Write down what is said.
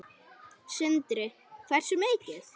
Sindri: Hversu mikið?